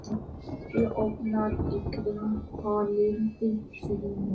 Mænt ofan í grængolandi sjóinn.